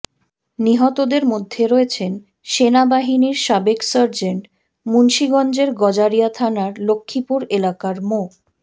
নিহতদের মধ্যে রয়েছেন সেনাবাহিনীর সাবেক সার্জেন্ট মুন্সীগঞ্জের গজারিয়া থানার লক্ষীপুর এলাকার মো